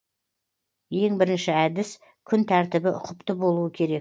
ең бірінші әдіс күн тәртібі ұқыпты болуы керек